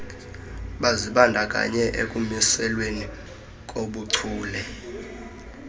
bazibandakanye ekumiselweni kobuchule